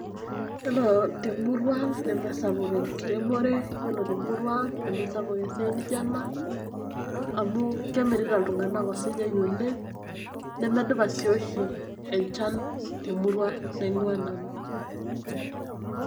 Iyiolo temurua ang' nemesapuk enkiremore , yiolo temurua ang nemesapuk esiai nijo enaamu kemirita ltunganak osinyai oleng' nemedupa duoshi enchan temurua naing'ua nanu.